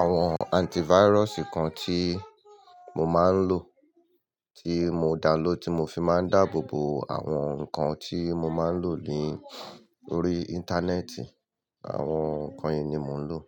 àwọn antivirus kan tí mo máa ń lò, tí mo download, tí mo fi máa ń dáàbò bo àwọn nǹkan tí mo máa ń lò lórí Internet. Àwọn nǹkan yìí ni mò ń lò.